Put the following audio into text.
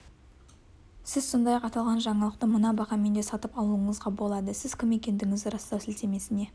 сіз сондай-ақ аталған жаңалықты мына бағамен де сатып алуыңызға болады сіз кім екендігіңізді растау сілтемесіне